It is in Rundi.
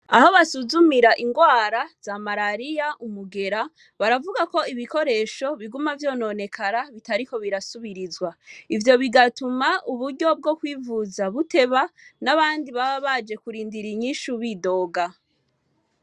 Aho basuzumira ingwara za marariya, umugera, baravuga ko ibikoresho biguma vyononekara bitariko birasubirizwa, ivyo bigatuma uburyo bwo kwivuza buteba, n'abandi baba baje kurindira inyishu bidoga.